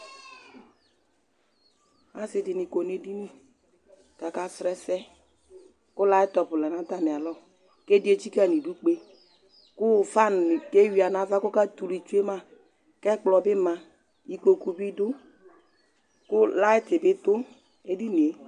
Asi di ni kɔ nu edini, ku aka srɔ ɛsɛ, ku laftɔf lɛ nu ata mi alɔ, ku ɛdi etsika nu idu kpe ku fan ni ke wuia nu ava ku ɔka tu lu tsue ma, ku ɛkplɔ bi ma, ikpoku bi du, ku light bi du edinie